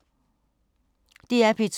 DR P2